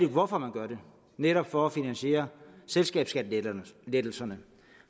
hvorfor man gør det netop for at finansiere selskabsskattelettelserne